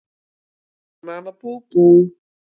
Nana nana bú bú!